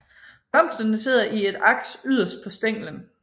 Blomsterne sidder i et aks yderst på stænglen